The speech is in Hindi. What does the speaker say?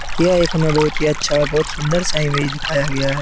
यह एक हमें बहुत ही अच्छा और बहुत सुंदर-सा ईमेज दिखाया गया है।